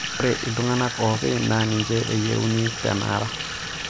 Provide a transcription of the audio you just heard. ore iltung'anak oopi naa ninche eyieuni te enara